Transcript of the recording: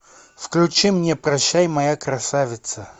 включи мне прощай моя красавица